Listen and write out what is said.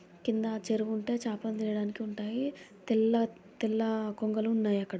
క్రింద చెరువు ఉంటాయి. చేపలు చేయడానికి ఉంటాయి. తెల్ల తెల్ల కొంగలు ఉన్నాయి అక్కడ.